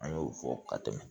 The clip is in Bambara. An y'o fɔ ka tɛmɛ